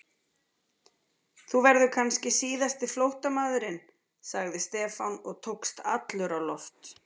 Þú verður kannski síðasti flóttamaðurinn sagði Stefán og tókst allur á loft.